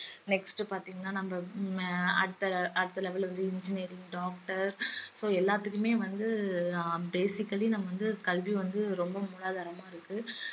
next பாத்தீங்கன்னா நம்ம அஹ் அடுத்த அடுத்த level வந்து engineering doctor so எல்லாத்துக்குமே வந்து ஆஹ் basically நம்ம வந்து கல்வி வந்து ரொம்ப மூலாதாரமா இருக்கு